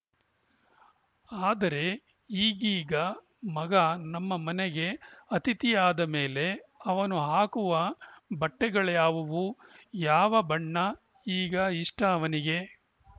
ಆದರೆ ಈಗೀಗ ಮಗ ನಮ್ಮ ಮನೆಗೇ ಅಥಿತಿಯಾದಮೇಲೆ ಅವನು ಹಾಕುವ ಬಟ್ಟೆಗಳ್ಯಾವು ಯಾವ ಬಣ್ಣ ಈಗ ಇಷ್ಟಅವನಿಗೆ